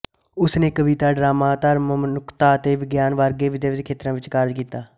ਉਸ ਨੇ ਕਵਿਤਾ ਡਰਾਮਾ ਧਰਮ ਮਨੁੱਖਤਾ ਅਤੇ ਵਿਗਿਆਨ ਵਰਗੇ ਵਿਵਿਧ ਖੇਤਰਾਂ ਵਿੱਚ ਕਾਰਜ ਕੀਤਾ